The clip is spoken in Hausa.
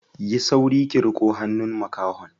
Yi sauri ki riƙo hannun makahon.